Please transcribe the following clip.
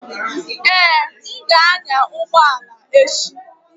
Ee, m ga-anya ụgbọ ala echi.